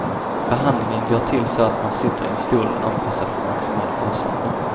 Behandlingen går till så att man sitter i en stol anpassad för maximal avslappning.